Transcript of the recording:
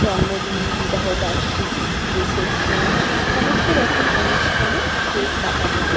জন্মদিন বিবাহ বার্ষিকী রিসেপশন সমস্ত রকম অনুষ্ঠানে কেক কাটা যায়।